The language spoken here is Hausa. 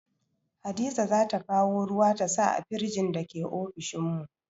Hadiza zata kawo ruwa ta sa a firjin da ke ofishin mu